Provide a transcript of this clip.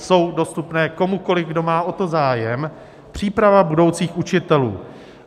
Jsou dostupné komukoliv, kdo má o to zájem - Příprava budoucích učitelů.